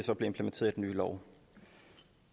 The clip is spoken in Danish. nye lov